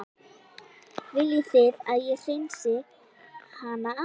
Viljið þið að ég hreinsið hana af þessu?